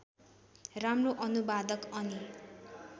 राम्रो अनुवादक अनि